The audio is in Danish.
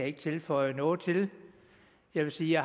ikke tilføje noget til jeg vil sige at